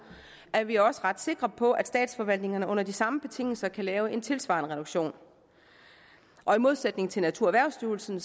er vi også ret sikre på at statsforvaltningerne under de samme betingelser kan lave en tilsvarende reduktion og i modsætning til naturerhvervsstyrelsen